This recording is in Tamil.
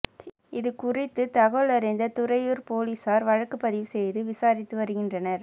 இதுகுறித்து தகவலறிந்த துறையூர் போலீசார் வழக்கு பதிவு செய்து விசாரித்து வருகின்றனர்